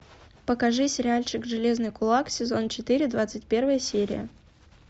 покажи сериальчик железный кулак сезон четыре двадцать первая серия